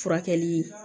Furakɛli